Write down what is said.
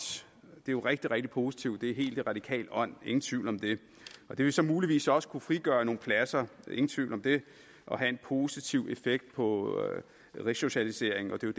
det er rigtig rigtig positivt det er helt i radikales ånd ingen tvivl om det og det vil så muligvis også kunne frigøre nogle pladser ingen tvivl om det og have en positiv effekt på resocialiseringen og det er